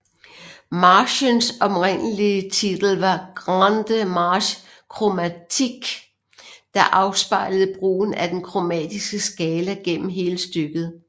Marchens oprindelige titel var Grande Marche Chromatique der afspejlede brugen af den kromatiske skala gennem hele stykket